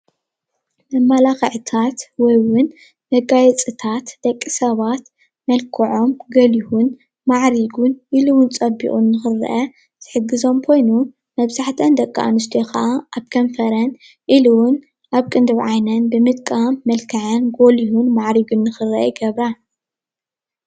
መማላኽዕታት ወይ እዉን መጋየፅታት ደቂ ሰባት መልክዖም ጎሉሁን ማዕሪጉን ኢሉ እዉን ፀቢቖም ንክርአዩ ዝሕግዞም ኮይኑ መብዛሕትአን ደቂ ኣንስትዮ ካዓ ኣብ ከንፈረን ኢሉ እዉን ኣብ ቅንድብ ዓይነን ብምጥቃም መልክዐን ጎሊሁ ማዕሪጉን ንክርአ ይገብራ ።